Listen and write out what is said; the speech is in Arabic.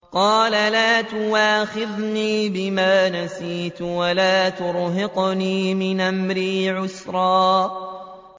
قَالَ لَا تُؤَاخِذْنِي بِمَا نَسِيتُ وَلَا تُرْهِقْنِي مِنْ أَمْرِي عُسْرًا